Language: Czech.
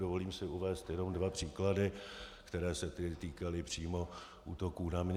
Dovolím si uvést jenom dva příklady, které se týkaly přímo útoků na mě.